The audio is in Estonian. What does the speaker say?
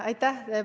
Aitäh!